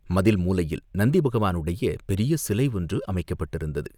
மதில் மூலையில் நந்தி பகவானுடைய பெரிய சிலை ஒன்று அமைக்கப்பட்டிருந்தது.